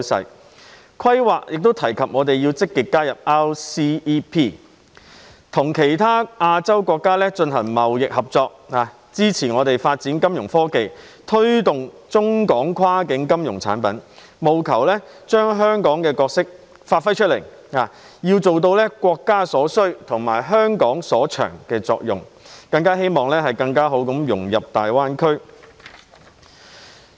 《十四五規劃綱要》亦提及我們要積極加入 RCEP， 與其他亞洲國家進行貿易合作，以支持我們發展金融科技、推動中港跨境金融產品，務求將香港的角色發揮出來，要做到國家所需及香港所長的作用，更好地融入大灣區。